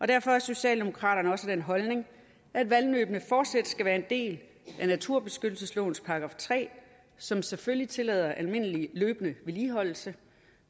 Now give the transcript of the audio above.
derfor er socialdemokraterne også af den holdning at vandløbene fortsat skal være en del af naturbeskyttelseslovens § tre som selvfølgelig tillader almindelig løbende vedligeholdelse